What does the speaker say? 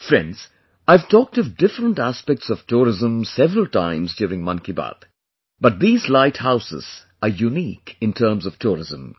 Friends, I have talked of different aspects of tourism several times during 'Man kiBaat', but these light houses are unique in terms of tourism